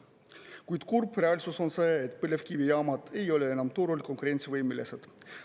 Kuid kurb reaalsus on see, et põlevkivijaamad ei ole enam turul konkurentsivõimelised.